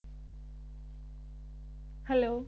Hello